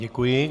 Děkuji.